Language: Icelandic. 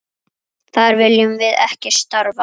Þar viljum við ekki starfa.